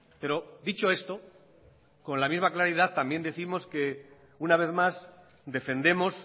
pero dicho esto con la misma claridad también décimos que una vez más defendemos